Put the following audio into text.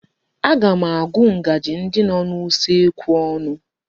Aga m agụ ngaji ndi nọ n'usekwu ọnụ.